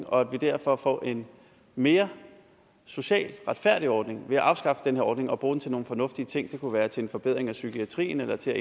og at vi derfor får en mere socialt retfærdig ordning ved at afskaffe den her ordning og bruge pengene til nogle fornuftige ting det kunne være til en forbedring af psykiatrien eller til